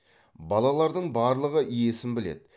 балалардың барлығы есін біледі